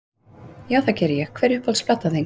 Já, það geri ég Hver er uppáhalds platan þín?